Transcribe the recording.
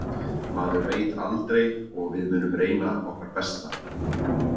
Maður veit aldrei og við munum reyna okkar besta.